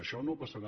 això no passarà